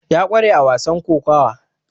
ya kware a wasan kokawa